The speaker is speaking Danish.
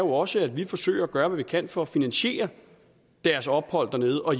også at vi forsøger at gøre hvad vi kan for at finansiere deres ophold dernede og